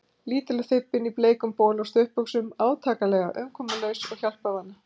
Lítil og þybbin, í bleikum bol og stuttbuxum, átakanlega umkomulaus og hjálparvana.